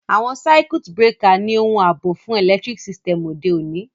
Àwon circuit breaker ni oun àbò fun electric system òde ọ̀ní